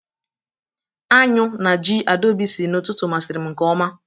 Añụ na ji Adaobi siri n'ụtụtụ masiri m nke ọma